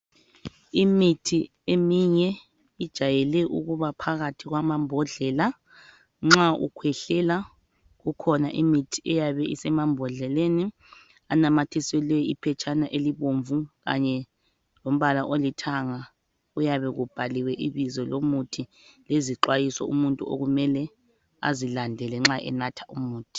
Imithi eminye ijwayele ukuba phakathi kwamambhodlela nxa ukhwehlela kukhona imithi eyabe isemambhodleleni anamathiselwe iphetshana elibomvu kanye lombala olithanga kuyabe kubhaliwe ibizo lomuthi lezixwayiso umuntu okumele azilandele nxa enatha umuthi.